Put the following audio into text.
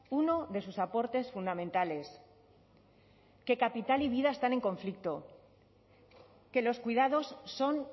uno de sus aportes fundamentales que capital y vida están en conflicto que los cuidados son